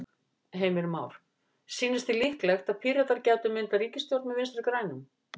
Heimir Már: Sýnist þér líklegt að Píratar gætu myndað ríkisstjórn með Vinstri-grænum?